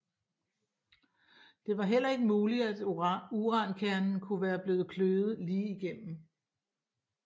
Det var heller ikke muligt at urankernen kunne være blevet kløvet lige igennem